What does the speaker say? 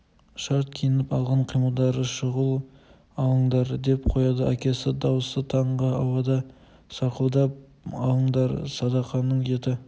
шарт киініп алған қимылдары шұғыл алыңдар деп қояды әкесі дауысы таңғы ауада саңқылдап алыңдар садақаның еті